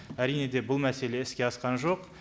әрине де бұл мәселе іске асқан жоқ